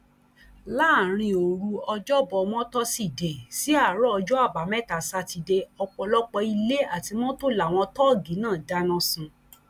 láàrin òru ọjọbamọtòṣìdee sí àárọ ọjọ àbámẹta sátidé ọpọlọpọ ilé àti mọtò làwọn tóógi náà dáná sun